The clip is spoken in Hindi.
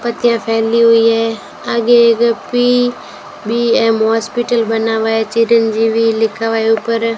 पत्तियां फैली हुई है आगे एक पी बी_एम हॉस्पिटल बना हुआ है चिरंजीवी लिखा हुआ है ऊपर।